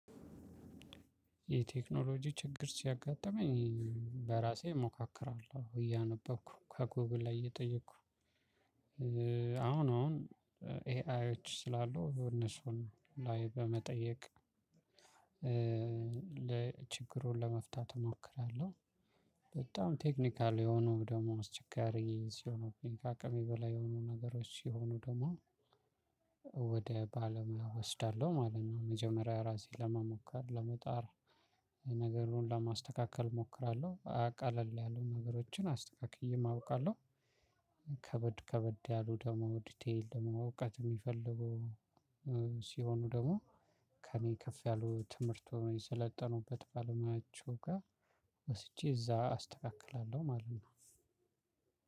የቴክኖሎጂ ችግር ሲያጋጥመኝ በራሴ እሞካከራለሁ እያነበብኩ ከጎግል ላይ እየጠየኩ አሁን አሁን ኤአይዎች ስላሉ እነሱን ላይ በመጠየቅ ለ ችግሩን ለመፍታት እሞክራለሁ። በጣም ቴክኒካል የሆኑ ደግሞ አስቸጋሪ ሲሆኑብኝ ካቅሜ በላይ የሆኑ ነገሮች ሲሆኑ ደግሞ ወደ ባለሙያ እወስዳለሁ ማለት ነው። መጀመሪያ ራሴ ለመሞከር ለመጣር ነገሩን ለማስተካከል እሞክራለሁ ቀለል ያሉ ነገሮችን አስተካክዬም አውቃለሁ። ከበድ ከበድ ያሉ ደግሞ ዲቴል ደግሞ እውቀት የሚፈልጉ ሲሆኑ ደግሞ ከእኔ ከፍ ያሉ ትምህርቱን የሰለጠኑበት ባለሙያዎቹ ጋር ወስጄ እዛ አስተካክላለሁ ማለት ነው።